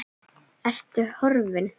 Ertu horfin?